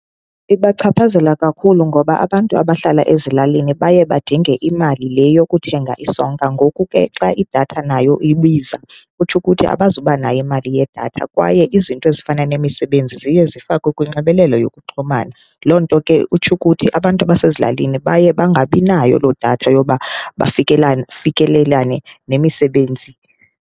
Ibachaphazela kakhulu ngoba abantu abahlala ezilalini baye badinge imali le yokuthenga isonka. Ngoku ke xa idatha nayo ibiza kutsho ukuthi abazubanayo imali yedatha, kwaye izinto ezifana nemisebenzi ziye zifakwe kunxibelelo yokuxhumana. Loo nto ke utsho ukuthi abantu abasezilalini baye bangabinayo loo datha yoba bafikelane, fikelelane nemisebenzi.